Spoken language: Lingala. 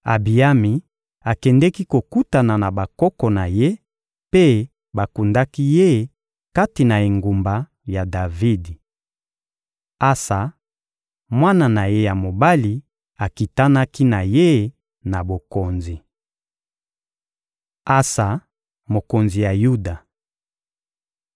Abiyami akendeki kokutana na bakoko na ye, mpe bakundaki ye kati na engumba ya Davidi. Asa, mwana na ye ya mobali, akitanaki na ye na bokonzi. Asa, mokonzi ya Yuda (2Ma 14.2-3; 15.16–16.6)